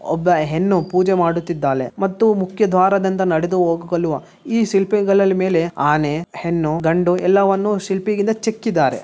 ಒಬ್ಬ ಹೆಣ್ಣು ಪೂಜೆ ಮಾಡುತ್ತಾ ಇದ್ದಾಳೆ ಮತ್ತು ಮುಖ್ಯ ದ್ವಾರದಿಂದ ನಡೆದು ಹೋಗಲು ಈ ಶಿಲ್ಪಗಳ ಮೇಲೆ ಆನೆ ಹೆಣ್ಣು ಗಂಡು ಎಲ್ಲವನ್ನೂ ಶಿಲ್ಪಿಯಿಂದ ಚೆಕ್ಕಿದ್ದಾರೆ.